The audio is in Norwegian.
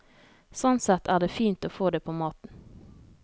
Sånn sett er det fint å få det på maten.